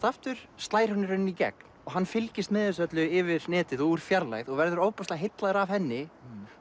aftur slær hún í rauninni í gegn og hann fylgist með þessu öllu yfir netið og úr fjarlægð verður ofboðslega heillaður af henni